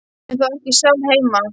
Hún er þá ekki sjálf heima.